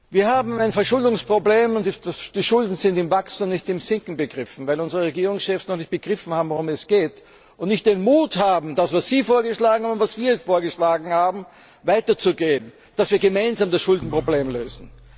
Wir haben ein Verschuldungsproblem, die Schulden sind im Wachsen und nicht im Sinken begriffen, weil unsere Regierungschefs noch nicht begriffen haben, worum es geht, und nicht den Mut haben, das, was Sie vorgeschlagen haben und was wir vorgeschlagen haben, anzupacken, dass wir gemeinsam das Schuldenproblem lösen.